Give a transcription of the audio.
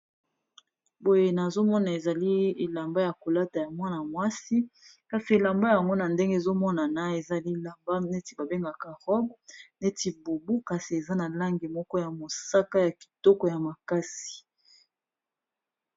Boye nazomona ezali elamba ya kolata ya mwana mwasi kasi elamba ya komona ndenge ezomonana ezali lamba neti ba bengaka rob neti bobu, kasi eza na lange moko ya mosaka ya kitoko ya makasi.